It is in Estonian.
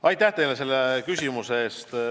Aitäh selle küsimuse eest!